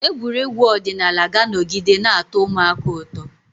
Egwuregwu ọdịnala ga-anọgide na-atọ ụmụaka ụtọ